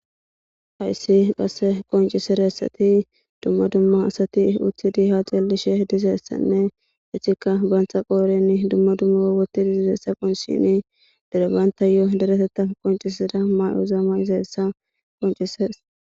Hayssi qasse qoncisidessati dumma dumma asati uthidi ha xeellishe dizeessanne etikka baantha qooren dumma dumma wottidi diizeessa qonccisishini dere bantayo dereteta qoncisida ma7oza ma7izeessa qoncises.